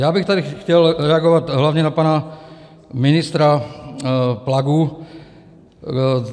Já bych tady chtěl reagovat hlavně na pana ministra Plagu.